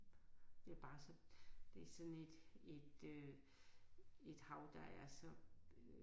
Det er bare så det er sådan et et øh et hav der er så